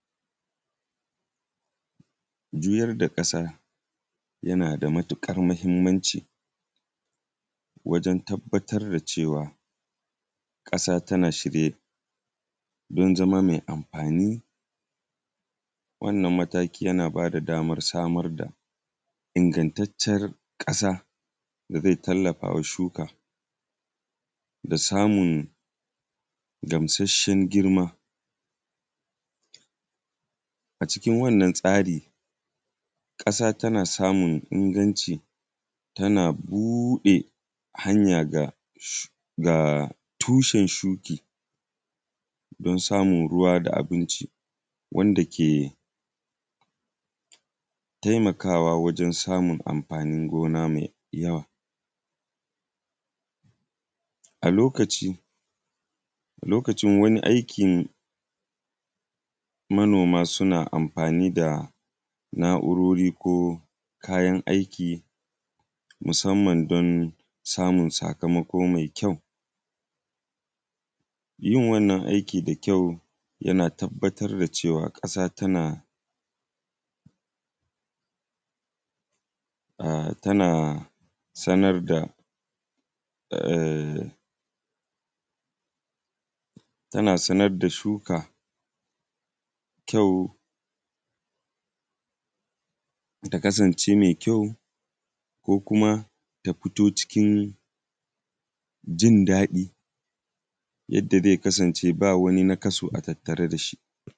Juyar da ƙasa, yana da matiƙar mahimmanci wajen tabbatar da cewa, ƙasa tana shirye don zama me amfani. Wannan mataki yana ba da damar samun ingantacciyar ƙasa da ze tallafa wa shuka da samun gamsasshen girma. A cikin wannan tsari, ƙasa tana samun inganci, tana buɗe hanya ga sh; ga tushen shuki don samun ruwa da abinci wanda ke temakawa wajen samun amfani gona me yawa. A lokaci, a lokacin wani aikin manoma suna amfani da na’urori ko kayan aiki, musamman don samun sakamako me kyau. Yin wannan aiki da kyau, tana tabbatar da cewa ƙasa tana a; tana sanar da eh; tana sanad da shuka kyau; ta kasance me kyau ko kuma, ta fito cikin jin daɗi yadda ze kasance ba wani nakasu a tattare da shi.